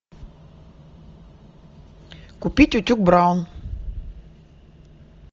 купить утюг браун